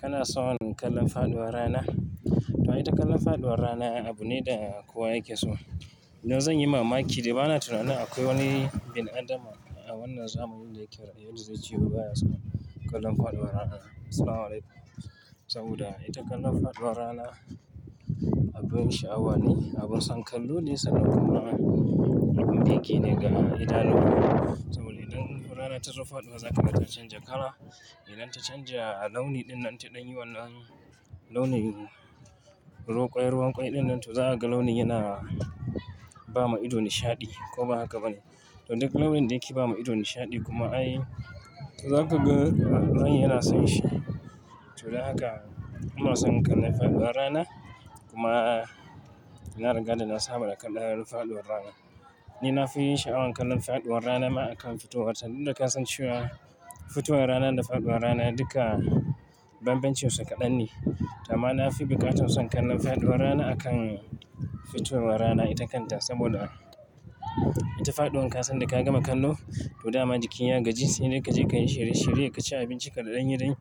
Kana son kallon faɗuwar rana? To ita kallon faɗuwar rana abu ne da kowa yake so. Yanzu zan yi mamaki, dai ba na tunanin akwai wani bin adama a wannan zamanin da yake raye wanda zai ce wai ba ya son kallon faɗuwar rana. Assalamualaikum, saboda ita kallon faɗuwar rana abin sha'awa ne, abin san kallo ne saboda kuma abin birge ne ga idanu. Saboda idan rana ta zo faɗuwa, za ka ga ta canja kala. Idan ta canja launi ɗin nan ta ɗan yi wannan launin ruwan kwai ɗin nan, to za ka ga launi yana ba ma ido nishaɗi, ko ba haka ba ne? To duk launin da yake ba ma ido nishaɗi kuma ai to za kaga ran yana son shi. To dan haka, ina son kallon faɗuwar rana kuma na riga da na saba da kallon faɗuwar rana. Ni na fi sha'awan kallon faɗuwar rana ma akan fitowar ta. Dudda ka san cewa fitowar rana da faɗuwar rana duka banbancin su kaɗan ne. To amma na fi buƙatar son kallon faɗuwar rana akan fitowar rana ita kanta saboda ita faɗuwa kasan da ka gama kallo, to dama jiki ya gaji sai dai ka je ka yi shirye shirye, ka ci abincinka da ɗan yi